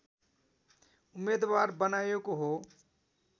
उम्मेदवार बनाएको हो